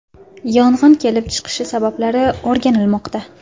Yong‘in kelib chiqishi sabablari o‘rganilmoqda.